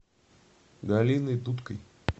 галиной дудкой